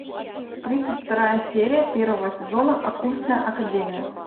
тридцать вторая серия первого сезона оккультная академия